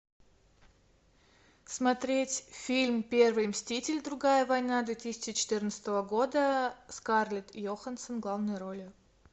смотреть фильм первый мститель другая война две тысячи четырнадцатого года скарлетт йоханссон в главной роли